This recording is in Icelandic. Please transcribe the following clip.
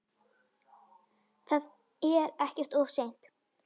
Það er ekkert of seint.